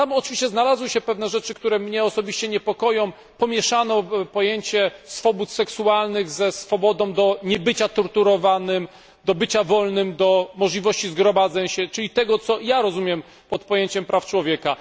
Znalazły się w nim oczywiście pewne rzeczy, które mnie niepokoją pomieszano pojęcie swobód seksualnych ze swobodą do niebycia torturowanym, do bycia wolnym, do możliwości gromadzenia się czyli tego, co ja rozumiem pod pojęciem praw człowieka.